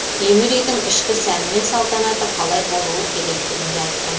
темір уйдің ішкі сәні мен салтанаты қалай болуы керегтігін де айтқан